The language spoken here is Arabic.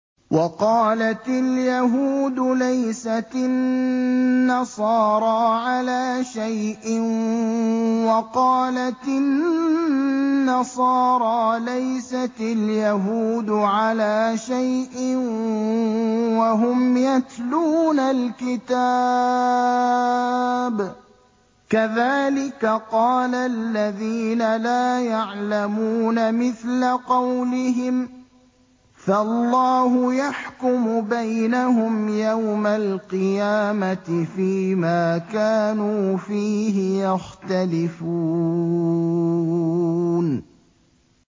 وَقَالَتِ الْيَهُودُ لَيْسَتِ النَّصَارَىٰ عَلَىٰ شَيْءٍ وَقَالَتِ النَّصَارَىٰ لَيْسَتِ الْيَهُودُ عَلَىٰ شَيْءٍ وَهُمْ يَتْلُونَ الْكِتَابَ ۗ كَذَٰلِكَ قَالَ الَّذِينَ لَا يَعْلَمُونَ مِثْلَ قَوْلِهِمْ ۚ فَاللَّهُ يَحْكُمُ بَيْنَهُمْ يَوْمَ الْقِيَامَةِ فِيمَا كَانُوا فِيهِ يَخْتَلِفُونَ